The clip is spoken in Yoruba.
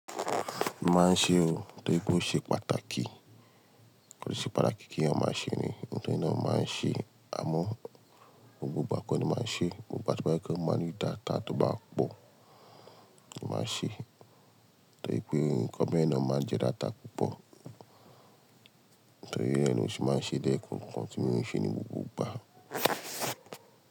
Máa ń ṣe ó, torí pé ó ṣe pàtàkì. Kíni ó ṣe pàtàkì kí ènìyàn máa ṣe ni, ohun tí ènìyàn máa ń ṣe, àmọ́ gbogbo gbà kọni máa ń ṣe, gbogbo igba to ba jepé mó máa ń rí data tó bá pọ̀, máa ṣe. Torí pé nǹkan bẹ́ẹ̀na máa ń jẹ data púpọ̀, torí ẹni yẹn ni ó sì máa ń ṣe lẹ́kookan ti mon ṣe ní gbogbo ìgbà.